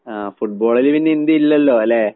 ആഹ് ഫുട്ബോളില് പിന്നെ ഇന്ത്യ ഇല്ലല്ലോലേ.